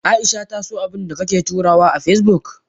Aisha ta so abundakake turawa a Facebook?